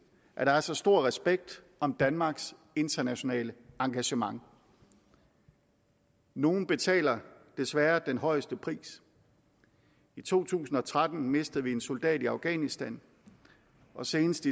at der er så stor respekt om danmarks internationale engagement nogle betaler desværre den højeste pris i to tusind og tretten mistede vi en soldat i afghanistan og senest